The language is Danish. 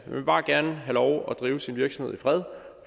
vil bare gerne have lov til at drive sin virksomhed i fred